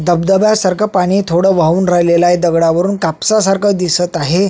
धबधब्यासारख पाणी थोडं वाहून राहिलेलय दगडा वरून कापसा सारखं दिसत आहे.